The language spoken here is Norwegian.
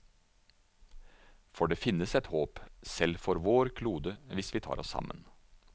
For det finnes et håp, selv for vår klode, hvis vi tar oss sammen.